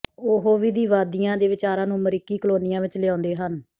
ਉਹ ਵਿਧੀਵਾਦੀਆਂ ਦੇ ਵਿਚਾਰਾਂ ਨੂੰ ਅਮਰੀਕੀ ਕਲੋਨੀਆਂ ਵਿੱਚ ਲਿਆਉਂਦੇ ਹਨ